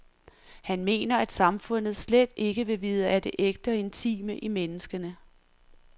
Han mener at samfundet slet ikke vil vide af det ægte og intime i menneskene.